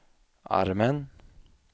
armen